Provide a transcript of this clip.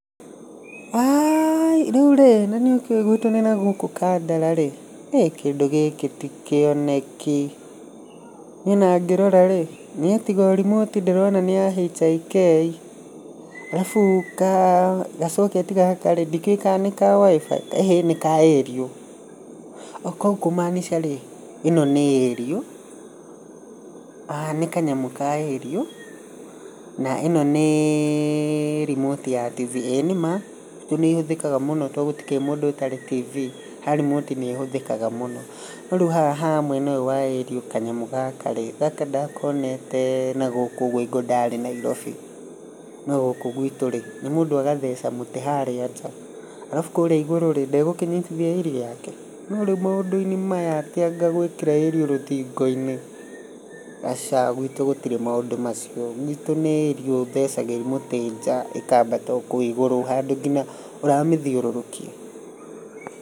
Aai, rĩu rĩ na nĩ ũkĩũĩ guitũ nĩ nagũkũ Kandara rĩ kĩndũ gĩkĩ ti kĩoneki niĩ ona ngĩrora rĩ niĩ tiga remote ndĩrona nĩ ya HAK arabu kacoketi gaka rĩ ndikĩũĩ kana nĩ ka WIFI ĩhĩ nĩ ka ĩriũ. Koguo kũmaanica rĩ ĩno nĩ ĩriũ nĩ kanyamũ ka ĩriũ na ĩno nĩ remote ya ĩĩ nĩ ma guitũ nĩ ĩhũthĩkaga mũno tondũ gũtikĩrĩ mũndũ ũtakĩrĩ TV ha remote nĩ ĩhũthĩkaga mũno. No rĩu haha mwena ũyũ wa ĩriũ kanyamũ gaka rĩ, gaka ndakonete nagũkũ ũguo hĩngo ndarĩ Nairobi. No gũkũ gwitũ rĩ nĩ mũndũ agatheca mũtĩ harĩa nja arabu kũrĩa igũrũ rĩ ndegukinyitithia ĩriũ yake. No rĩu maũndũ-inĩ maya atĩ anga gwĩkĩra ĩriũ rũthingo-inĩ aca gwitũ gũtirĩ maũndũ macio gwitũ nĩ ĩriũ ũthecagĩriria mũtĩ nja ĩkambata okũu igũrũ handũ nginya ũramĩthiũrũrũkia.